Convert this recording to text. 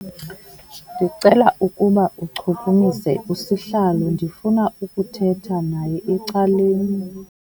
Ndicela ukuba uchukumise usihlalo ndifuna ukuthetha naye ecaleni.